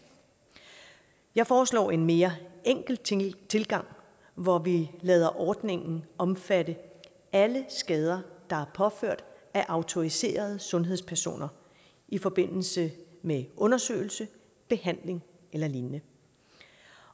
jeg foreslår en mere enkel tilgang hvor vi lader ordningen omfatte alle skader der er påført af autoriserede sundhedspersoner i forbindelse med undersøgelse behandling eller lignende